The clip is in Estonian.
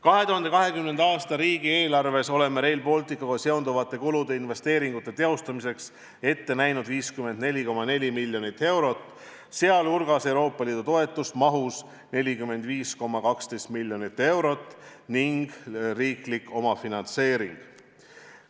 2020. aasta riigieelarves oleme Rail Balticuga seonduvate kulude investeeringute teostamiseks ette näinud 54,4 miljonit eurot, sh Euroopa Liidu toetust mahus 45,12 miljonit eurot ning riiklik omafinantseering.